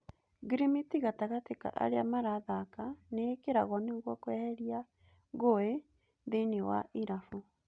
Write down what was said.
Ngirimiti gatagatĩ ka arĩa marathaka nĩĩkĩragwo nĩguo kweheria ngũĩ thĩiniĩ wa irabu.